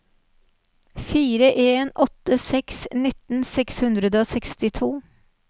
fire en åtte seks nittien seks hundre og sekstito